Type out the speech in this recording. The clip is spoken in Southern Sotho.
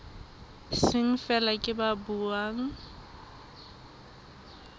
seng feela ke ba buang